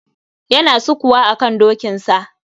Yana sukuwa akan dokinsa.